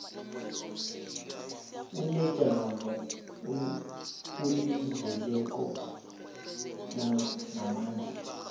unejamo elizeleko namandla